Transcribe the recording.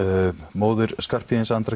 móðir Skarphéðins Andra